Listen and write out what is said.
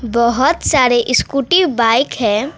बहुत सारे scooty bike है।